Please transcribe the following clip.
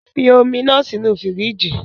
Fi omi naa sinu firiji.